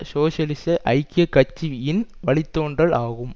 சோசியலிச ஐக்கிய கட்சியின் வழி தோன்றல் ஆகும்